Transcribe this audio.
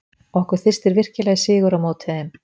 Okkur þyrstir virkilega í sigur á móti þeim.